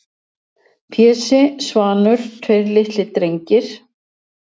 Pési, Svanur, tveir litlir drengir-